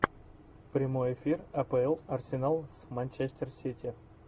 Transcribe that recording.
прямой эфир апл арсенал с манчестер сити